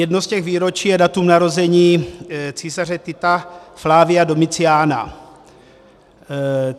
Jedno z těch výročí je datum narození císaře Tita Flavia Domitiana.